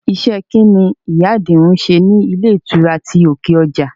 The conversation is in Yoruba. Iṣẹ́ kín ni ìyá Àjìún ń ṣe ní ilé ìtura ti òkè ọjà?